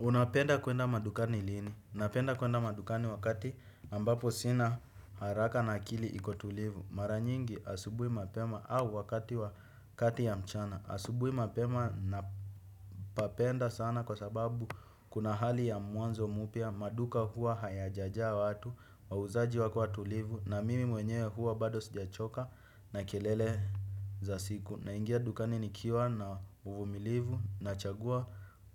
Unapenda kuenda madukani lini? Napenda kuenda madukani wakati ambapo sina haraka na akili iko tulivu. Mara nyingi asubui mapema au wakati wa kati ya mchana. Asubui mapema napapenda sana kwa sababu kuna hali ya mwanzo mupya. Maduka huwa hayajajaa watu, wauzaji wakiwa tulivu na mimi mwenyewe huwa bado sijachoka na kelele za siku. Naingia dukani nikiwa na uvumilivu nachagua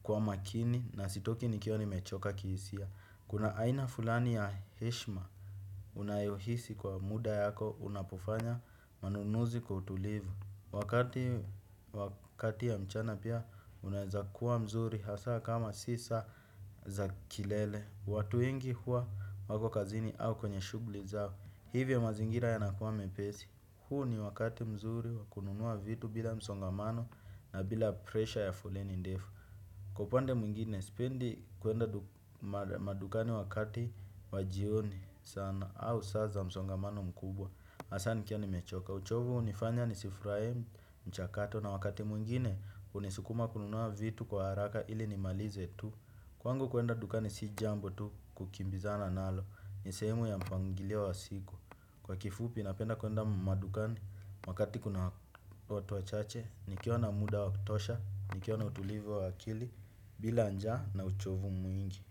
kwa makini na sitoki nikiwa nimechoka kihisia. Kuna aina fulani ya heshima unayohisi kwa muda yako unapofanya manunuzi kwa utulivu. Wakati ya mchana pia unaeza kuwa mzuri hasa kama si saa za kilele. Watu wengi hua wako kazini au kwenye shuguli zao. Hivyo mazingira yanakuwa mepesi. Huu ni wakati mzuri wa kununua vitu bila msongamano na bila presha ya foleni ndefu. Kwa upande mwengine, sipendi kuenda madukani wakati wa jioni sana au saa za msongamano mkubwa. Asa nikiwa nimechoka. Uchovu unifanya nisifuraie mchakato na wakati mwingine unisukuma kununua vitu kwa haraka ili nimalize tu. Kwangu kuenda dukani si jambo tu kukimbizana nalo. Ni sehemu ya mpangilio wa siku. Kwa kifupi napenda kuenda madukani. Wakati kuna watu wachache nikiwa na muda wa kutosha nikiwa na utulivu wa akili bila njaa na uchovu mwingi.